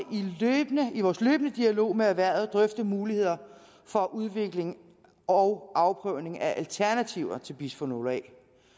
i vores løbende dialog med erhvervet drøfte muligheder for udvikling og afprøvning af alternativer til bisfenol a